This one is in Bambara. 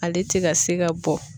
Ale te ka se ka bɔ